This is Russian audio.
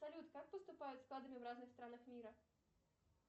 салют как поступают с кадрами в разных странах мира